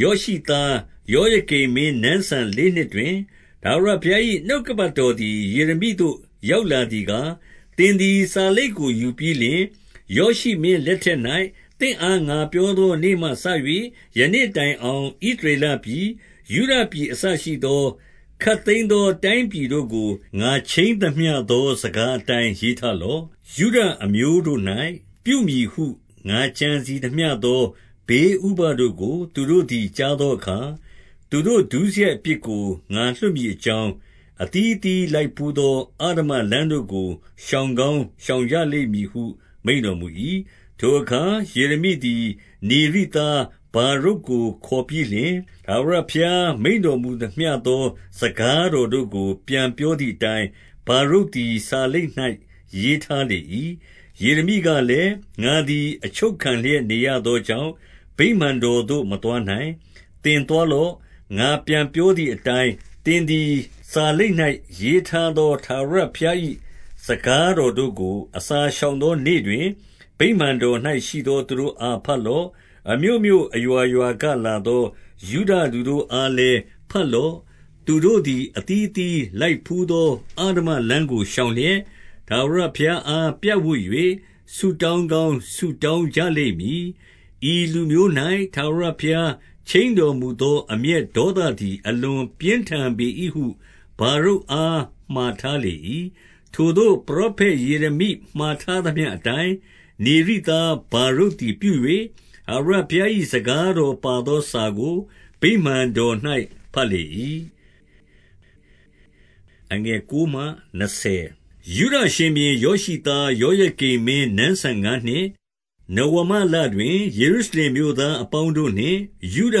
ယောရှိသား ယောယကိမ်မင်း နန်းစံလေးနှစ်တွင်၊ ထာဝရဘုရား၏နှုတ်ကပတ်တော် သည် ယေရမိသို့ ရောက်လာသည်ကား၊ 2 သင်သည် စာလိပ်ကိုယူပြီးလျှင်၊ ယောရှိမင်း လက်ထက်၌ သင့်အား ငါပြောသော နေ့မှစ၍ ယနေ့ တိုင်အောင် ဣသရေလပြည်၊ ယုဒပြည်အစရှိသော ခပ်သိမ်းသော တိုင်းပြည်တို့ကို ငါခြိမ်းသမျှသေ၌ စကား အတိုင်း ရေးထားလော့။ 3 ယုဒအမျိုးတို့၌ ပြုမည်ဟု ငါကြံစည်သမျှသော ဘေးဥပဒ်တို့ကို သူတို့သည် ကြားသောအခါ၊ သူတို့ ဒုစရိုက်အပြစ်ကို ငါလွှတ်မည်အကြောင်း၊ အသီးအသီး လိုက်ဘူးသော အဓမ္မလမ်းတို့ကို ရှောင်ကောင်း ရှောင်ကြ လိမ့်မည်ဟု မိန့်တော်မူ၏။ 4 ထိုအခါယေရမိသည် နေရိသား ဗာရုတ်ကို ခေါ်ပြီးလျှင် ထာဝရဘုရားမိန့်တော်မူသမျှသော စကား တော်တို့ကို ပြန်ပြောသည်အတိုင်း၊ ဗာရုတ်သည် စာလိပ် ၌ ရေးထားလေ၏။ 5 ယေရမိကလည်း၊ ငါသည် အချုပ်ခံလျက် နေရ သောကြောင့်၊ ဗိမာန်တော်သို့ မသွားနိုင်။ 6 သင်သွားလော့။ ငါပြန်ပြောသည်အတိုင်း၊ သင်သည် စာလိပ်၌ ရေးထားသော ထာဝရဘုရား၏ စကားတော်တို့ကို၊ အစာရှောင်သောနေ့တွင်၊ ဗိမာန် တော်၌ရှိသော သူတို့အားဘတ်လော့။ အမြို့မြို့အရွာရွာ ကလာသော ယုဒလူတို့အားလည်း ဘတ်လော့။ 7 သူတို့သည် အသီးအသီးလိုက်ဘူးသော အဓမ္မလမ်း ကို ရှောင်လျက်၊ ထာဝရဘုရားအားပြပ်ဝပ်၍ ဆုတောင်း ကောင်းဆုတောင်းကြလိမ့်မည်။ ဤလူမျိုး၌ ထာဝရဘုရား ခြိမ်းတော်မူသော အမျက်ဒေါသသည် အလွန်ပြင်းထန် ပေ၏ဟု ဗာရုတ်အားမှာထားလေ၏။ 8 ထိုသို့ပရောဖက်ယေရမိ မှာထားသမျှအတိုင်း၊ နေရိသားဗာရုတ်သည်ပြု၍၊ ထာဝရဘုရား၏ စကား တော်ပါသော စာကိုဗိမာန်တော်၌ ဘတ်လေ၏။ 9 ယုဒရှင်ဘုရင်ယောရှိသားယောယကိမ်မင်း နန်းစံငါးနှစ်၊ နဝမလတွင် ယေရုရှလင်မြို့သားအပေါင်း တို့နှင့်၊ ယုဒ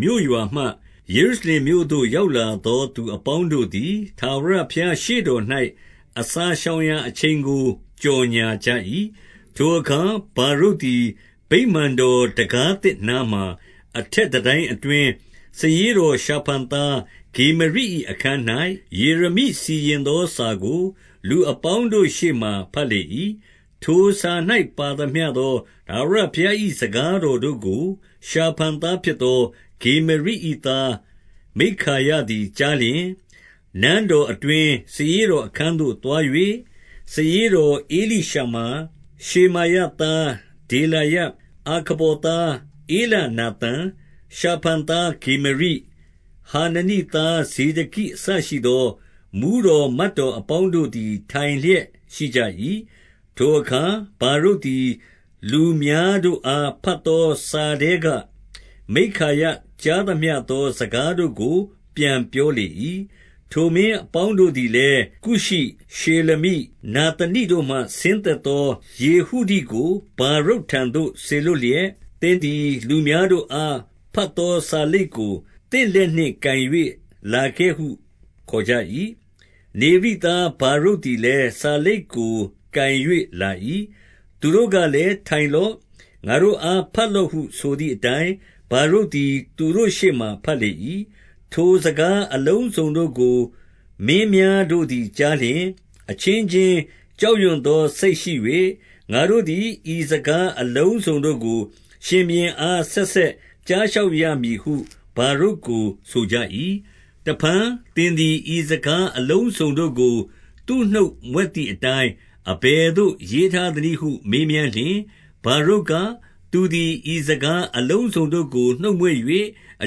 မြို့ရွာမှ ယေရုရှလင်မြို့သို့ ရောက်လာသော သူအပေါင်းတို့သည် ထာဝရဘုရားရှေ့တော်၌ အစာ ရှောင်ရာအချိန်ကို ကြော်ငြာကြ၏။ 10 ထိုအခါဗာရုတ်သည် ဗိမာန်တော်တံခါးသစ်နား မှာ၊ အထက်တန်တိုင်းအတွင်း၊ စာရေးတော်ရှာဖန်သား ဂေမရိ၏အခန်း၌၊ ယေရမိစီရင်သော စာကို လူအပေါင်း တို့ ရှေ့မှာဘတ်လေ၏။ 11 ထိုစာ၌ပါသမျှသော ထာဝရဘုရား၏ စကား တော်တို့ကို ရှာဖန်သားဖြစ်သော ဂေမရိ၏သားမိက္ခာယ သည်ကြားလျှင်၊ 12 နန်းတော်အတွင်း၊ စာရေးတော်အခန်းသို့ သွား၍၊ စာရေးတော် ဧလိရှမာ၊ ရှေမာယသားဒေလာယ၊ အာခဗော်သားဧလနာသန်၊ ရှာဖန်သား ဂေမရိ၊ ဟာန နိသားဇေဒကိအစရှိသော မှူးတော်မတ်တော် အပေါင်း တို့သည် ထိုင်လျက်ရှိကြ၏။ 13 ထိုအခါဗာရုတ်သည် လူများတို့အား ဘတ် သော စာထဲက မိက္ခာယကြားသမျှသော စကားတို့ကို ပြန်ပြောလေ၏။ 14 ထိုမင်းအပေါင်းတို့သည်လည်း၊ ကုရှိ၊ ရှေလမိ၊ နာသနိတို့မှ ဆင်းသက်သောယေဟုဒိကို ဗာရုတ်ထံသို့ စေလွှတ်လျက်၊ သင်သည် လူများတို့အား ဘတ်သော စာလိပ်ကို သင့်လက်နှင့်ကိုင်၍ လာခဲ့ဟုခေါ်ကြ၏။ နေရိသားဗာရုတ်သည်လည်း၊ စာလိပ်ကိုကိုင်၍လာ၏။ 15 သူတို့ကလည်း ထိုင်လော့။ငါတို့အား ဘတ်လော့ ဟုဆိုသည်အတိုင်း၊ ဗာရုတ်သည် သူတို့ရှေ့မှာ ဘတ်လေ ၏။ 16 ထိုစကားအလုံးစုံတို့ကို မင်းများတို့သည် ကြား လျှင်၊ အချင်းချင်း ကြောက်ရွံ့သော စိတ်ရှိ၍၊ ငါတို့သည် ဤစကားအလုံးစုံတို့ကို ရှင်ဘုရင်အား ဆက်ဆက်ကြားလျှောက်ရမည်ဟု ဗာရုတ်ကို ဆိုကြ၏။ 17 တဖန်သင်သည် ဤစကားအလုံးစုံတို့ကို သူ့နှုတ်မြွက်သည်အတိုင်း အဘယ်သို့ရေးထားသနည်းဟု မေးမြန်းလျှင်၊ 18 ဗာရုတ်က၊ သူသည်ဤစကားအလုံးစုံတို့ကို နှုတ်မြွက်၍၊ အ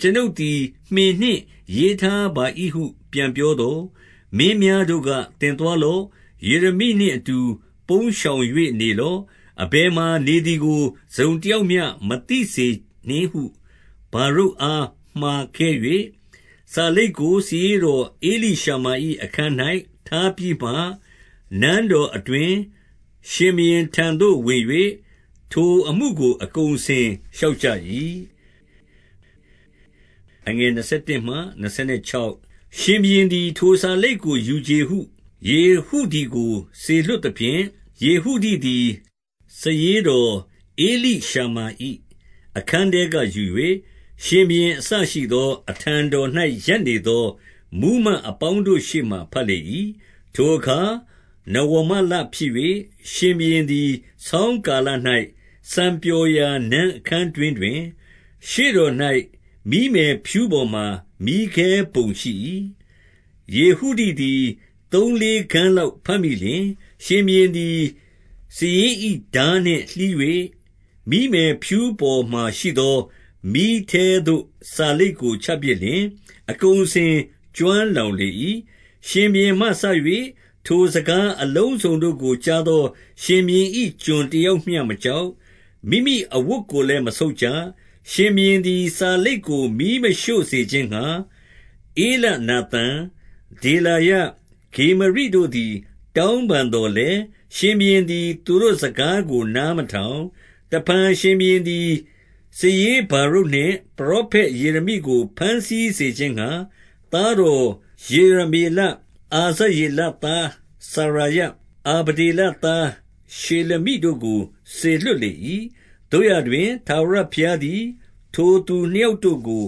ကျွန်ုပ်သည် မှင်နှင့်ရေးထားပါ၏ဟု ပြန်ပြောသော်၊ 19 မင်းများတို့က၊ သင်သွားလော့။ ယေရမိနှင့် အတူ ပုန်းရှောင်၍နေလော့။ အဘယ်မှာနေသည်ကို တစုံတယောက်မျှ မသိစေနှင့်ဟုဗာရုတ် အားမှာခဲ့၍၊ 20 စာလိပ်ကိုစာရေးတော်ဧလိရှမာ၏ အခန်း၌ ထားပြီးမှနန်းတော်အတွင်း၊ ရှင်ဘုရင်ထံသို့ဝင်၍၊ ထိုအမှု ကို အကုန်အစင်လျှောက်ကြ၍။ 21 ရှင်ဘုရင်သည် ထိုစာလိပ်ကိုယူချေဟု၊ ယေဟုဒိ ကိုစေလွှတ်သဖြင့်၊ ယေဟုဒိသည် စာရေးတော်ဧလိရှမာ ၏ အခန်းထဲကယူ၍၊ ရှင်ဘုရင်အစရှိသော အထံတော်၌ ရပ်နေသော မှူးမတ်အပေါင်းတို့ရှေ့မှာ ဘတ်လေ၏။ 22 ထိုအခါနဝမလဖြစ်၍၊ ရှင်ဘုရင်သည် ဆောင်း ကာလ၌ စံပျော်ရာနန်းအခန်းတွင်ထိုင်၍၊ ရှေ့တော်၌ မီးမယ်ဖျူးပေါ်မှာ မီးခဲပုံရှိ၏။ 23 ယေဟုဒိသည် သုံးလေးခဏ်းလောက် ဘတ်မိ လျှင်၊ ရှင်ဘုရင်သည် စာရေး၏ထားနှင့်လှီး၍ မီးမယ်ဖျူး ပေါ်မှာရှိသော မီးထဲသို့ စာလိပ်ကို ချပစ်လျှင်၊ အကုန် အစင်ကျွမ်းလောင်လေ၏။ 24 ရှင်ဘုရင်မှစ၍၊ ထိုစကားအလုံးစုံတို့ကို ကြား သော ရှင်ဘုရင်၏ ကျွန်တယောက်မျှမကြောက်၊ မိမိ အဝတ်ကိုလည်း မဆုတ်ကြ။ 25 ရှင်ဘုရင်သည် စာလိပ်ကိုမီးမရှို့စေခြင်းငှါ၊ ဧလနာသန်၊ ဒေလာယ၊ ဂေမရိတို့သည် တောင်းပန်သော် လည်း၊ ရှင်ဘုရင်သည် သူတို့စကားကို နားမထောင်။ 26 တဖန်ရှင်ဘုရင်သည် စာရေးဗာရုတ်နှင့် ပရော ဖက်ယေရမိကို ဘမ်းဆီးစေခြင်းငှါ၊ သားတော်ယေရ မေလ၊ အာဇရေလသားစရာယ၊ အာဗဒေလသားရှေလမိ တို့ကို စေလွှတ်လေ၏။ သို့ရာတွင်၊ ထာဝရဘုရားသည် ထိုသူနှစ်ယောက်တို့ကို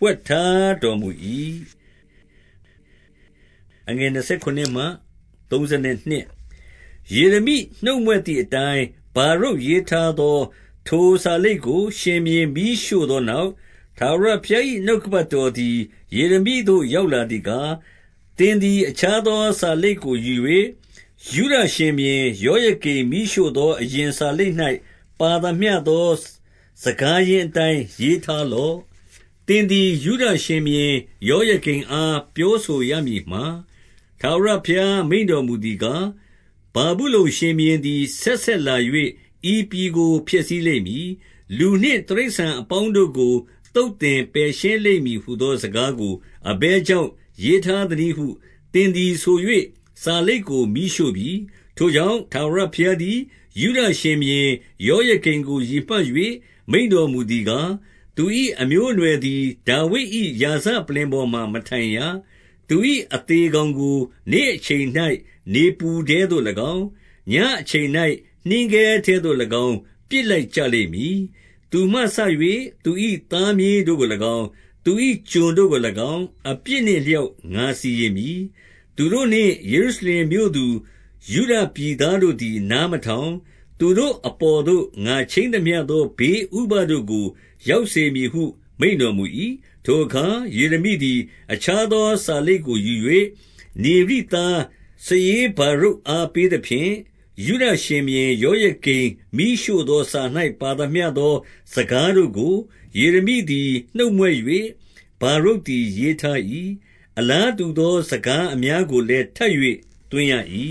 ဝှက်ထားတော်မူ၏။ 27 ယေရမိနှုတ်မြွတ်သည်အတိုင်း ဗာရုတ်ရေးထား သော ထိုစာလိပ်ကို ရှင်ဘုရင်မီးရှို့သောနောက်၊ ထာဝရ ဘုရား၏နှုတ်ကပတ်တော်သည် ယေရမိသို့ရောက်လာ သည်ကား၊ 28 သင်သည်အခြားသော စာလိပ်ကိုယူ၍၊ ယုဒ ရှင်ဘုရင်ယောယကိမ်မီးရှို့သော အရင်စာလိပ်၌ ပါသမျှ သော စကားရင်းအတိုင်း ရေးထားလော့။ 29 သင်သည် ယုဒရှင်ဘုရင် ယောယကိမ်အား ပြောဆိုရမည်မှာ၊ ထာဝရဘုရားမိန့်တော်မူသည်ကား၊ ဗာဗုလုန် ရှင်ဘုရင်သည် ဆက်ဆက်လာ၍ ဤပြည်ကို ဖျက်ဆီးလိမ့်မည်။ လူနှင့်တိရစ္ဆာန်အပေါင်းတို့ကို သုတ် သင်ပယ်ရှင်းလိမ့်မည်ဟူသော စကားကို အဘယ်ကြောင့် ရေးထားသနည်းဟု သင်သည်ဆို၍ စာလိပ်ကိုမီးရှို့ပြီ။ 30 ထိုကြောင့်၊ ထာဝရဘုရားသည် ယုဒရှင်ဘုရင် ယောယကိမ်ကို ရည်မှတ်၍ မိန့်တော်မူသည်ကား၊ သူ၏အမျိုးအနွယ်သည် ဒါဝိဒ်၏ရာဇပလ္လင်ပေါ်မှာ မထိုင်ရ။ သူ၏အသေကောင်ကို နေ့အချိန်၌နေပူထဲသို့ ၎င်း၊ ညဉ့်အချိန်၌နှင်းခဲထဲသို့၎င်း ပစ်လိုက်ကြလိမ့်မည်။ 31 သူမှစ၍ သူ၏သားမြေးတို့ကို၎င်း၊ သူ၏ ကျွန်တို့ကို၎င်း၊ အပြစ်နှင့်အလျောက် ငါစီရင်မည်။ သူတို့နှင့်ယေရှုရှလင်မြို့သူ ယုဒပြည်သားတို့သည် နား မထောင်၊ သူတို့အပေါ်သို့ ငါခြိမ်းသမျှသော ဘေးဥပဒ် တို့ကို ရောက်စေမည်ဟုမိန့်တော်မူ၏။ 32 ထိုအခါယေရမိသည်အခြားသော စာလိပ်ကို ယူ၍၊ နေရိသားစာ ရေးဗာရုတ်အားပေးသဖြင့်၊ ယုဒ ရှင်ဘုရင်ယောယကိမ်မီးရှို့သောစာ၌ ပါသမျှသော စကားတို့ကို ယေရမိသည်နှုတ်မြွတ်၍၊ ဗာရုတ်သည်ရေး ထား၏။ အလားတူသော စကားအများကိုလည်းထပ်၍ သွင်းရ၏။